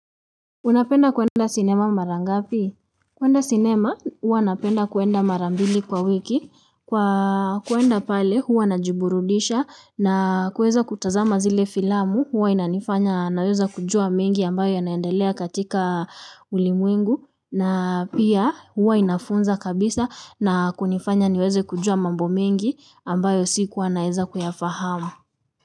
Unapenda kwenda sinema mara ngapi? Kwenda sinema, huwa napenda kwenda mara mbili kwa wiki. Kwa kwenda pale, huwa najiburudisha na kuweza kutazama zile filamu, huwa inanifanya naweza kujua mengi ambayo yanaendelea katika ulimwengu. Na pia hua inafunza kabisa na kunifanya niweze kujua mambo mengi ambayo sikuwa naweza kuyafahamu.